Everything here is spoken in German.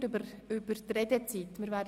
Wir haben über die Redezeit diskutiert.